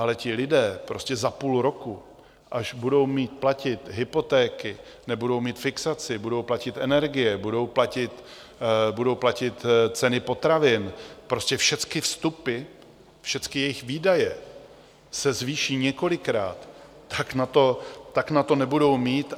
Ale ti lidé prostě za půl roku, až budou mít platit hypotéky, nebudou mít fixaci, budou platit energie, budou platit ceny potravin, prostě všecky vstupy, všecky jejich výdaje se zvýší několikrát, tak na to nebudou mít.